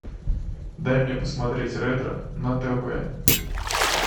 дай мне посмотреть ретро на тв